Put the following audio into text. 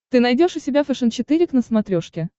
ты найдешь у себя фэшен четыре к на смотрешке